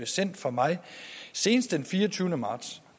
sendt fra mig senest den fireogtyvende marts